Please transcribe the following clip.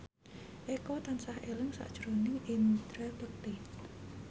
Eko tansah eling sakjroning Indra Bekti